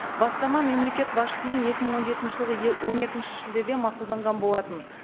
бастама мемлекет басшысымен екі мың он жетінші жылғы он екінші шілдеде мақұлданған болатын